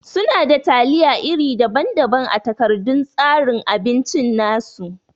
Suna da taliya iri daban-daban a takardan tsarin abinci nasu.